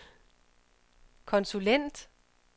konsulent